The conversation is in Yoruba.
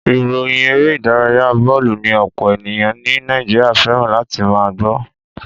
Ìròyìn eré ìdárayá bọ́ọ̀lù ni ọ̀pọ̀ ènìyàn ní Nàìjíríà fẹ́ràn láti máa gbọ́.